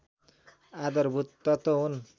आधारभूत तत्त्व हुन्